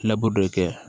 dɔ kɛ